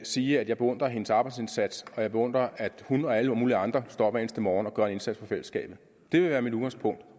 sige at jeg beundrer hendes arbejdsindsats og at jeg beundrer at hun og alle mulige andre står op hver eneste morgen og gør en indsats for fællesskabet det vil være mit udgangspunkt